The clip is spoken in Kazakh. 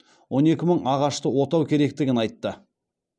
он екі мың ағашты отау керектігін айтты